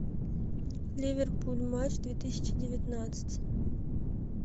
ливерпуль матч две тысячи девятнадцать